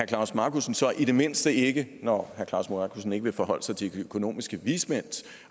klaus markussen så i det mindste ikke når herre klaus markussen ikke vil forholde sig til de økonomiske vismænds